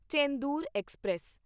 Chendur express